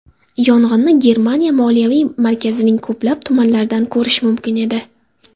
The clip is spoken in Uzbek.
Yong‘inni Germaniya moliyaviy markazining ko‘plab tumanlaridan ko‘rish mumkin edi.